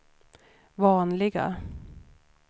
vanliga